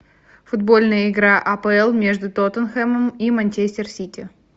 футбольная игра апл между тоттенхэмом и манчестер сити